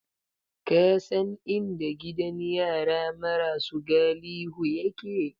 Ka san inda gidan yara marasu galihu yake?